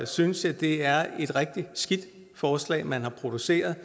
synes jeg det er et rigtig skidt forslag man har produceret